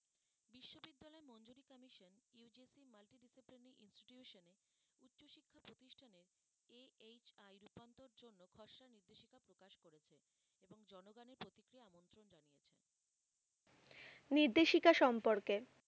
নির্দেশিকা সম্পর্কে